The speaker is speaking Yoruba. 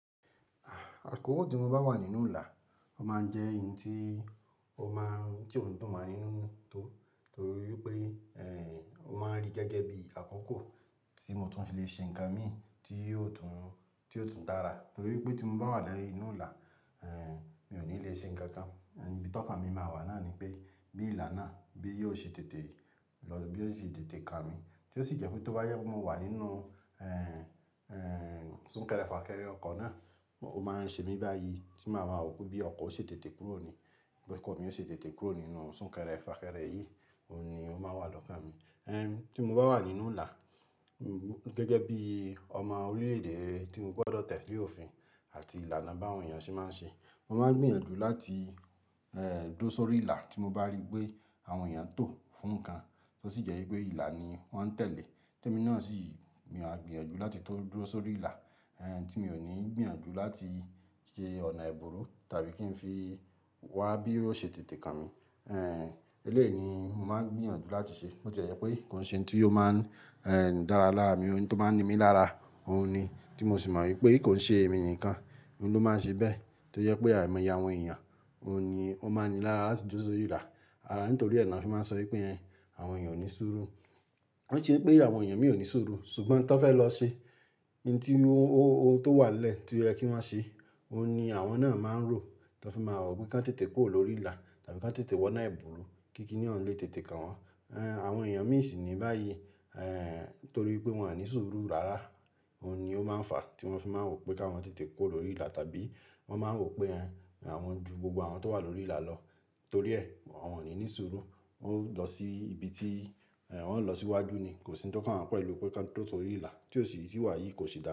Àkókò tí mo bá wà nínú ìlà, ó máa ń jẹ́ ohun tí ó dùn máa mi ninu to torí pé ó máa ń rí gẹ́gẹ́ bí àkókò tí mo tún fi lè ṣe nǹkan mi tí yóò tún dára. Torí pé tí mo bá wà lẹ́rù inú ìlà, mi ò ní lè ṣe nǹkan kan. Ibi tí ọkàn mi máa wà náà ni pé bí ìlà náà bí yóò ṣe tètè kan mi, tí ó sì jẹ́ pé tó bá yẹ kó máa wà nínú súnkẹrẹ fàkẹrẹ ọkọ̀ náà, ó máa ń ṣe mí báyìí tí màá máa wò pé bí ọkọ̀ ó ṣe tètè kúrò ni, ọkọ̀ mi ó ṣe tètè kúrò nínú súnkẹrẹ fàkẹrẹ yìí, òun ni ó máa wà lọ́kàn mi. Tí mo bá wà nínú ìlà, gẹ́gẹ́ bí ọmọ orílẹ̀ èdè rẹ tí n gbodo tele òfin àti ìlànà bá àwọn èèyàn ṣe máa ń ṣe, mo máa ń gbìyànjú láti duro sórí ìlà tí mo bá rí pé àwọn èèyàn tò fún nǹkan, tí ó sì jẹ́ pé ìlà ni wọ́n ń tẹ̀lé. Tẹ́ mi náà sì, mi ò á gbìyànjú láti tó dúró sórí ìlà tí mi ò ní gbìyànjú láti ṣe ọ̀nà ebùrú tàbí kí n fi wá bí ó ṣe tètè kan mi. Elẹ́yi ni mo máa ń gbìyànjú láti ṣe. Bo ti e jẹ́ pé kò ṣe ohun tí yóò máa ń dára lára mi, ohun tí ó máa ń ni mí lára, òun ni tí mo sì mọ wípé kò ṣe èmi nìkan ló máa ń ṣe bẹ́ẹ̀. Tó jẹ́ pé àìmọ̀ye àwọn èèyàn, òun ni ó máa ń ni lára láti duro sórí ìlà. Ara nítorí rẹ̀ náà fi máa ń sọ wípé àwọn èèyàn ò ní sùúrù. Ko ṣe pé àwọn èèyàn mí ò ní sùúrù, ṣùgbọ́n n tó fẹ́ lọ ṣe ohun tó wà lẹ́ẹ̀ tí ó yẹ kí wọ́n ṣe, òun ni àwọn náà máa ń rò tó fi máa wò pé kán tètè kó lórí ìlà tàbí ká tètè wọ́nà ebùrú kí kí ní ọ̀ǹlẹ tètè kàn wọ́n. Àwọn èèyàn mí ìsìn ni báyìí torí pé wọ́n ni sùúrù rárá, òun ni ó máa ń fà tí wọ́n fi máa wò pé ká wọ́n tètè kó lórí ìlà tàbí wọ́n máa ń wò pé àwọn ju gbogbo àwọn tó wà lórí ìlà lọ torí ẹ̀ wọ́n ò ní sùúrù. Wọ́n ń lọ sí ibi tí wọ́n ń lọ síwájú ni, kò sí ohun tí ó kan wọ́n pẹ̀lú pé ká tó sórí ìlà tí ò sì wà yìí kò sì dára.